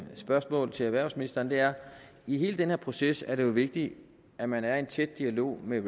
spørgsmål til erhvervsministeren er i hele den her proces er det jo vigtigt at man er i en tæt dialog med